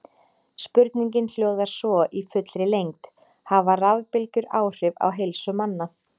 Spurningin hljóðar svo í fullri lengd: Hafa rafbylgjur áhrif á heilsu manna?